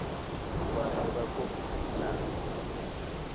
kufanele bakhombise linani